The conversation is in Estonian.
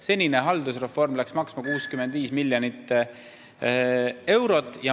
Senine haldusreform on läinud maksma 65 miljonit eurot.